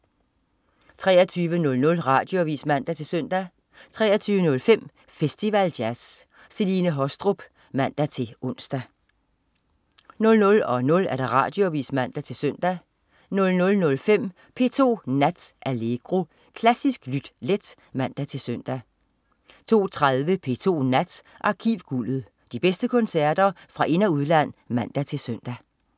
23.00 Radioavis (man-søn) 23.05 Festival Jazz. Celine Haastrup (man-ons) 00.00 Radioavis (man-søn) 00.05 P2 Nat. Allegro. Klassisk lyt let (man-søn) 02.30 P2 Nat. Arkivguldet. De bedste koncerter fra ind- og udland (man- søn)